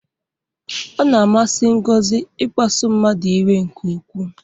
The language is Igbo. Ọ na-amasị Ngozi ịkpasu mmadụ iwe nke ukwu.